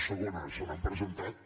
segona se n’han presentat